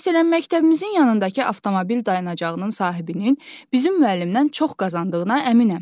Məsələn, məktəbimizin yanındakı avtomobil dayanacağının sahibinin bizim müəllimdən çox qazandığına əminəm.